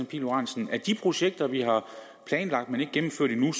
pihl lorentzen at de projekter vi har planlagt men ikke gennemført endnu